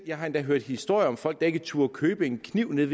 jeg har endda hørt historier om folk der ikke turde købe en kniv nede